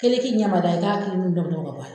Kelenki dama da, i k'a kelenkelen bɛɛ bɔ a la.